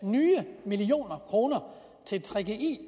million kroner til gggi